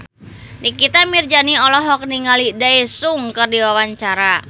Nikita Mirzani olohok ningali Daesung keur diwawancara